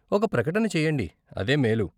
ఒక ప్రకటన చెయ్యండి, అదే మేలు.